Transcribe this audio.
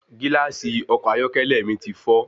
Gílàsì ọkọ̀ ayọ́kẹ́lẹ́ mi ti fọ́